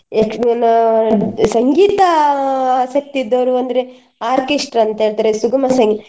ಯಕ್ಷಗಾನ, ಸಂಗೀತ ಆಸಕ್ತಿ ಇದ್ದವರು ಅಂದ್ರೆ orchestra ಅಂತ ಹೇಳ್ತಾರೆ ಸುಗುಮ ಸಂಗೀ~ .